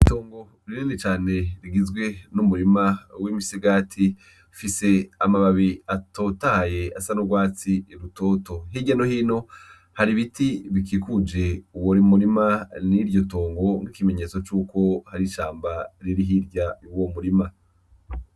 Itongo rinini cane rigizwe n'umurima w'imisigati, ifise amababi atotahaye asa n'urwatsi rutoto hirya nohino har'ibiti bikikuje uwo murima n'iryotongo nk'ikimenyetso cuko harishamba riri hirya yuwo murima.